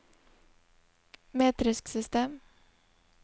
metrisk system